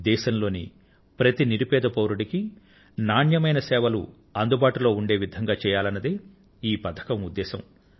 దేశం లోని ప్రతి నిరుపేద పౌరుడికీ నాణ్యమైన ఆరోగ్య సేవలను అందుబాటులో ఉండే విధంగా చెయ్యాలనేదే ఈ పథకం ఉద్దేశం